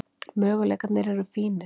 Möguleikarnir eru fínir.